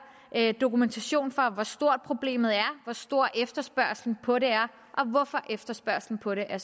dokumentation for hvor stort problemet er hvor stor efterspørgslen på det er og hvorfor efterspørgslen på det er